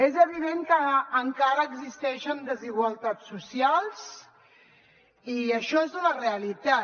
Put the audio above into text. és evident que encara existeixen desigualtats socials i això és una realitat